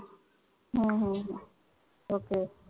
हम्म ok